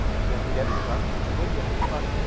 Þegar hann gerði það þá sló ég hann til baka.